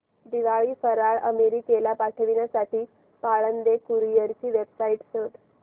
दिवाळी फराळ अमेरिकेला पाठविण्यासाठी पाळंदे कुरिअर ची वेबसाइट शोध